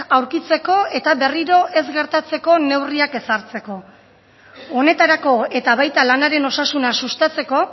aurkitzeko eta berriro ez gertatzeko neurriak ezartzeko honetarako eta baita lanaren osasuna sustatzeko